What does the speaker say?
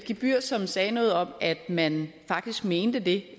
gebyr som sagde noget om at man faktisk mente det